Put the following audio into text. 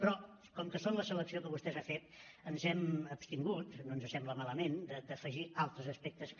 però com que són la selecció que vostè ha fet ens hem abstingut no ens sembla malament d’afegir altres aspectes que